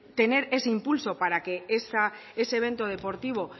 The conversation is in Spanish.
tener ese impulso para que ese evento deportivo